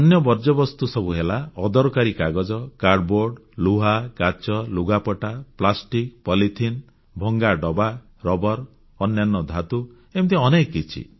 ଅନ୍ୟ ବର୍ଜ୍ୟବସ୍ତୁ ସବୁ ହେଲା ଅଦରକାରୀ କାଗଜ କାର୍ଡବୋର୍ଡ ଲୁହା କାଚ ଲୁଗାପଟା ପ୍ଲାଷ୍ଟିକ ପଲିଥିନ ଭଙ୍ଗା ଡବା ରବର ଅନ୍ୟାନ୍ୟ ଧାତୁ ଏମିତି ଅନେକ କିଛି